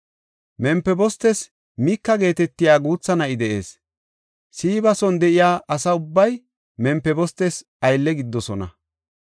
Mempibostes Mika geetetiya guutha na7i de7ees. Siiba son de7iya asa ubbay Mempibostes aylle gididosona.